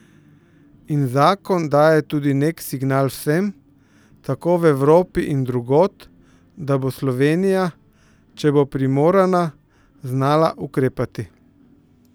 In zakon daje tudi nek signal vsem, tako v Evropi in drugod, da bo Slovenija, če bo primorana, znala ukrepati.